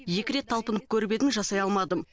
екі рет талпынып көріп едім жасай алмадым